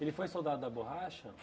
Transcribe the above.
Ele foi soldado da borracha?